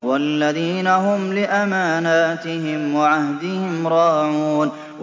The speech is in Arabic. وَالَّذِينَ هُمْ لِأَمَانَاتِهِمْ وَعَهْدِهِمْ رَاعُونَ